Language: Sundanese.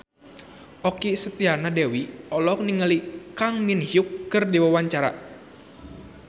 Okky Setiana Dewi olohok ningali Kang Min Hyuk keur diwawancara